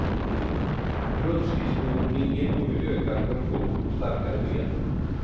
Rullskridskoåkning ger både ökad kondition och starkare ben.